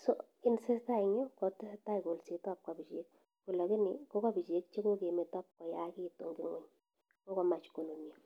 kit netesatai en yu kotesetai kolset ak kabichek kolakini kokabechek che kokmeto koyakitu en ng'weny kokomach kunun ya.